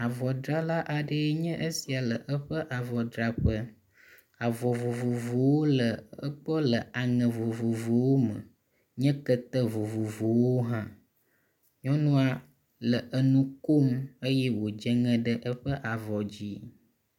avɔ drala aɖee nye esia le eƒe avɔdraƒe avɔ vovovowo le egbɔ le aŋe vovovowo me nye kete vovovowo hã nyɔnua le enukom eye wo dzeŋe ɖe eƒe avɔwo dzi